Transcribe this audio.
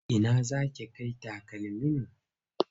Ina za ki kai takalmin nan?